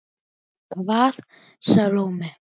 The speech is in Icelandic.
Hvaða Salóme?